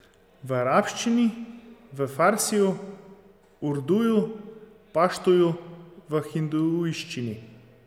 V arabščini, v farsiju, urduju, paštuju, v hindujščini ...